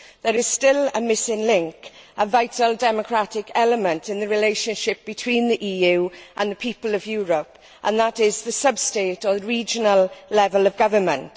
There is still a missing link, a vital democratic element in the relationship between the EU and the people of Europe, and that is the sub state, or regional level of government.